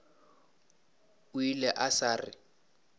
o ile a sa re